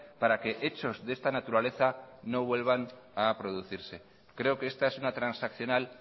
para que hechos de esta naturaleza no vuelvan a producirse creo que esta es una transaccional